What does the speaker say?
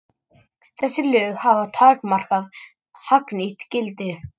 Þessi lög hafa takmarkað hagnýtt gildi.